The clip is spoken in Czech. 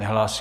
Nehlásí.